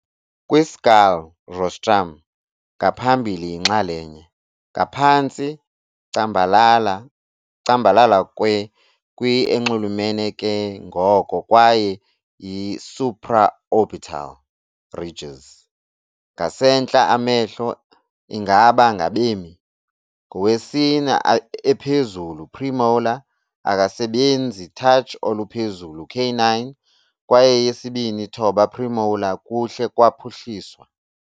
Kwi-skull, rostrum ngaphambili yinxalenye ngaphantsi cambalala kwe kwi-enxulumene ke ngoko kwaye yi-supraorbital ridges ngasentla amehlo ingaba ngabemi. Ngowesine ephezulu premolar akasebenzi touch oluphezulu canine kwaye eyesibini thoba premolar kuhle kwaphuhliswa.